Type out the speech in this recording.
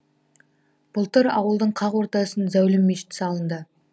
былтыр ауылдың қақ ортасын зәулім мешіт салынды